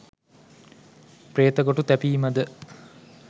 ප්‍රේතගොටු තැබීම ද